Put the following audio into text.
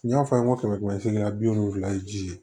N y'a fɔ a ye n ko kɛmɛ seereya bi wolonfila ye ji ye